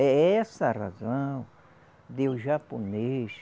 É essa a razão de o japonês.